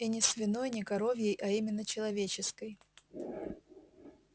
и не свиной не коровьей а именно человеческой